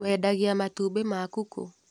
Wendagia matumbĩ maku kũ.